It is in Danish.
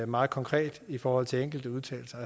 meget konkret i forhold til enkelte udtalelser